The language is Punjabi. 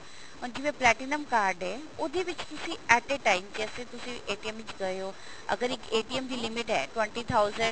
ਹੁਣ ਜਿਵੇਂ platinum card ਹੈ ਉਹਦੇ ਵਿੱਚ ਤੁਸੀਂ at a time ਜੈਸੇ ਤੁਸੀਂ ਵਿੱਚ ਗਏ ਹੋ ਅਗਰ ਇੱਕ ਦੀ limit ਹੈ twenty thousand